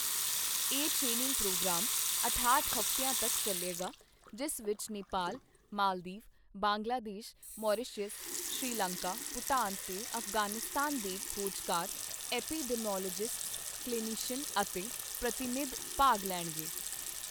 ਇਹ training program ਅਠਾਹਟ ਹਫ਼ਤਿਆਂ ਤੱਕ ਚੱਲੇਗਾ, ਜਿਸ ਵਿੱਚ ਨੇਪਾਲ, ਮਾਲਦੀਵ, ਬੰਗਲਾਦੇਸ਼, ਮਾਰੀਸ਼ਸ, ਸ੍ਰੀਲੰਕਾ, ਭੂਟਾਨ ਤੇ ਅਫ਼ਗ਼ਾਨਿਸਤਾਨ ਦੇ ਖੋਜਕਾਰ, ਐਪੀਡੈਮੀਓਲੌਜਿਸਟਸ, ਕਲੀਨਿਸ਼ੀਅਨ ਅਤੇ ਪ੍ਰਤੀਨਿਧ ਭਾਗ ਲੈਣਗੇ।